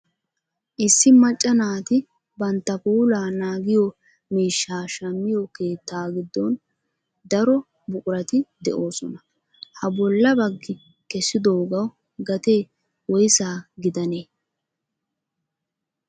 Issi macca naati bantta puulaa naagiyo miishshaa shammiyo keettaa giddon daro buqurati de'oosona. Ha bolla bagi kessidoogawu gatee woyisa gidanee?